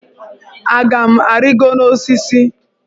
Aga m arịgo n'osisi?